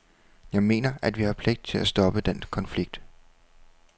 Jeg mener, at vi har pligt til at stoppe den konflikt.